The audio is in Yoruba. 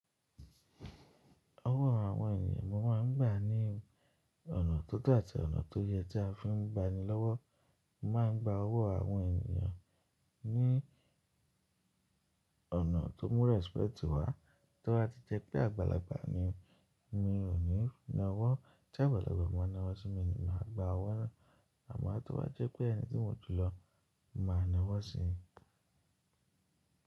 Owó àwọn ènìyàn mo máa ń gbà ní ọ̀nà tó to àti ọ̀nà tó yẹ tí a fi ń banilọ́wọ́. Mo máa ń gba owó àwọn ènìyàn ní ọ̀nà tó mú respect wá. Tó bá ti jẹ́ pé àgbàlagbà ni, mi ò ní na owó. Tí àgbàlagbà bá na owó sí mi ni màá gba owó náà. Àmọ́ tí ó bá jẹ́ pé ẹni tí mo jùlọ máa na owó sí i.